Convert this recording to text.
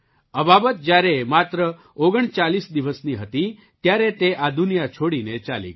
અબાબત જ્યારે માત્ર ઓગણચાલીસ 39 દિવસની હતી ત્યારે તે આ દુનિયા છોડીને ચાલી ગઈ